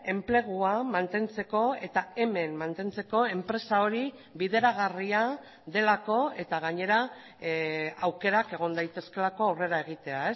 enplegua mantentzeko eta hemen mantentzeko enpresa hori bideragarria delako eta gainera aukerak egon daitezkeelako aurrera egitea